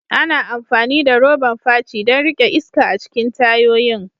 Ana amfani da roban fachi don riƙe iska a cikin tayoyin.